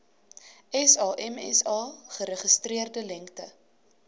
samsa geregistreerde lengte